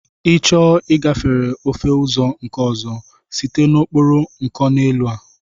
I chọọ ịgafere ofe ụzọ nke ọzọ, site n'okporo nkoneelu a!